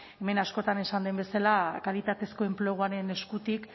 hemen askotan esan den bezala kalitatezko enpleguaren eskutik